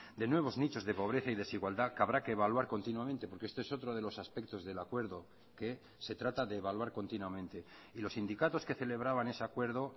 de nuevos nichos de pobreza y desigualdad que habrá que evaluar continuamente porque este es otro de los aspectos del acuerdo que se trata de evaluar continuamente y los sindicatos que celebraban ese acuerdo